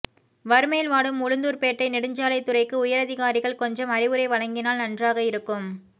வறுமையில் வாடும் உளுந்தூர்பேட்டை நெடுஞ்சாலைத் துறைக்கு உயரதிகாரிகள் கொஞ்சம் அறிவுரை வழங்கினால் நன்றாக இருக்கும்